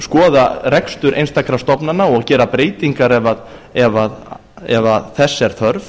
skoða rekstur einstakra stofnana og gera breytingar ef þess er þörf